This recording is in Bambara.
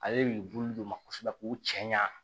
Ale de bi bulu don ma kosɛbɛ k'u cɛ ɲa